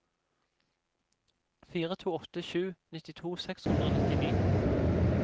fire to åtte sju nittito seks hundre og nittini